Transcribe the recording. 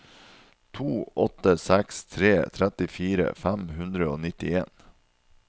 to åtte seks tre trettifire fem hundre og nittien